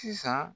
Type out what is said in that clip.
Sisan